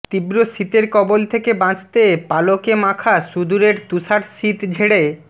তীব্র শীতের কবল থেকে বাঁচতে পালকে মাখা সূদুরের তুষার শীত ঝেড়ে